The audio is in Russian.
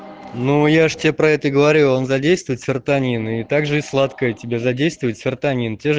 ну я же тебе про это и говорю он задействует серотонин и также и сладкое тебе задействует серотонин те же